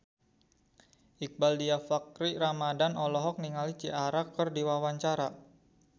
Iqbaal Dhiafakhri Ramadhan olohok ningali Ciara keur diwawancara